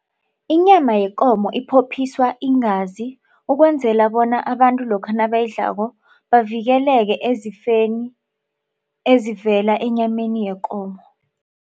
Inyama yekomo iphophiswa iingazi ukwenzela bona abantu lokha nabayidlako bavikeleke ezifeni ezivela enyameni yekomo.